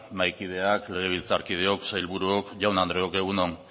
mahaikideak legebiltzarkideok sailburuok jaun andreok egun on